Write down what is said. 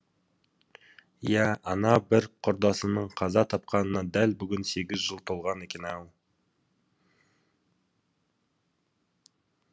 иә ана бір құрдасының қаза тапқанына дәл бүгін сегіз жыл толған екен ау